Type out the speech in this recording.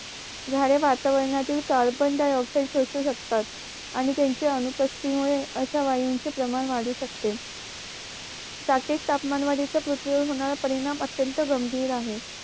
झाडे वातावरणातील कारबनडायऑक्सिड शोषू शकतात आणि त्यांच्या अनुपस्तिथी मुळे अश्या वायूंचे प्रमाण वाढू शकते जाकतीक तापमान वाडीच पृथ्वी वर होणार परिणाम अत्यंत गंभीर आहे